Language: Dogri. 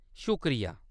शुक्रिया।